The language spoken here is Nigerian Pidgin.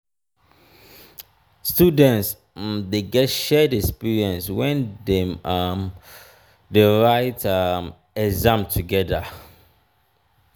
students um de get shared experience when dem um de write um exam together